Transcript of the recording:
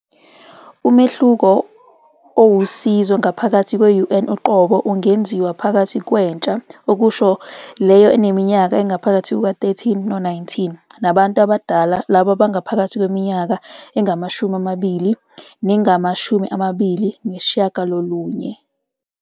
Umehluko owusizo ngaphakathi kwe-UN uqobo ungenziwa phakathi kwentsha, okusho leyo eneminyaka ephakathi kuka-13 no-19, nabantu abadala, labo abaphakathi kweminyaka engama-20 nengama-29.